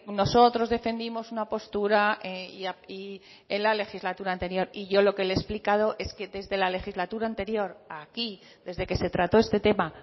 nosotros defendimos una postura en la legislatura anterior y yo lo que le he explicado es que desde la legislatura anterior a aquí desde que se trató este tema